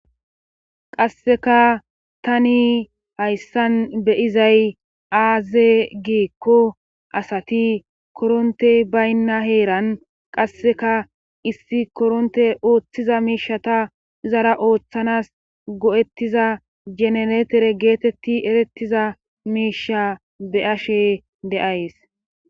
qasseka tani hayssan beyizay aaze giikko asati korontey baynna heeran qasseka issi koronte ooththiza miishata zara ooththanas go7ettiza jenenetere geetetti erettiza miisha beyashe deays